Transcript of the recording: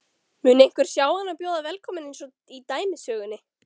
Mun einhver sjá hann og bjóða velkominn einsog í dæmisögunni?